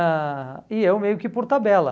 ãh E eu meio que por tabela.